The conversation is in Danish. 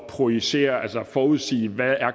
projicere altså forudsige hvad